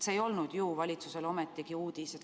See ei olnud ju valitsusele ometi uudis.